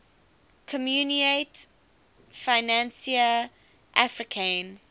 communaute financiere africaine